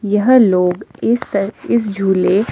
यह लोग इस पर इस झूले--